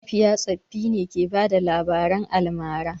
Mafiya tsoffi ne ke bada labaran almara.